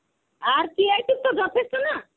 আর কি এইটুক টা যথেষ্ট না?